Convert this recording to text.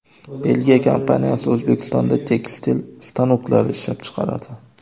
Belgiya kompaniyasi O‘zbekistonda tekstil stanoklari ishlab chiqaradi.